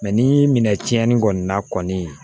Mɛ ni minɛ tiɲɛni kɔni na kɔni